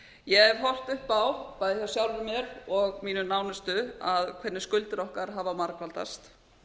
ég hef horft upp á bæði hjá sjálfri mér og mínum nánustu hvernig skuldir okkar hafa margfaldast